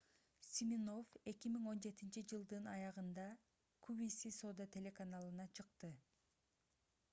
симинофф 2017-жылдын аягында qvc соода телеканалына чыкты